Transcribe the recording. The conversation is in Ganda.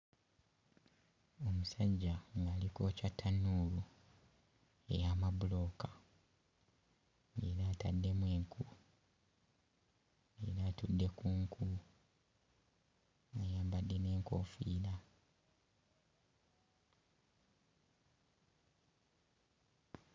Omusajja ng'ali kwokya ttannuulu ey'amabulooka era ataddemu enku era atudde ku nku ayambadde n'enkoofiira.